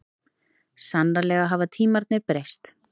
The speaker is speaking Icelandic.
Sannarlega hafa tímarnir breyst.